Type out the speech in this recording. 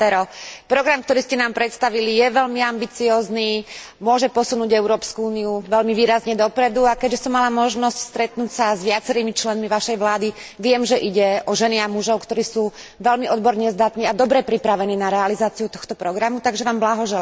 Program, ktorý ste nám predstavili, je veľmi ambiciózny, môže posunúť Európsku úniu veľmi výrazne dopredu, a keďže som mala možnosť stretnúť sa s viacerými členmi vašej vlády, viem, že ide o ženy a mužov, ktorí sú veľmi odborne zdatní a dobre pripravení na realizáciu tohto programu, takže vám blahoželám.